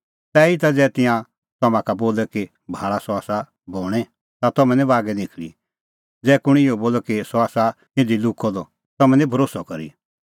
तैहीता ज़ै तिंयां तम्हां का बोले कि भाल़ा सह आसा बणैं ता तम्हैं निं बागै निखल़ी ज़ै कुंण इहअ बोले कि सह आसा इधी लुक्कअ द तम्हैं निं भरोस्सअ करी